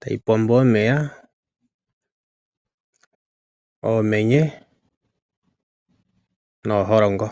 tayi pombo omeya, oomenye nooholongo.